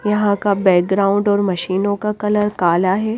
यहां का बैकग्राउंड और मशीनों का कलर काला है।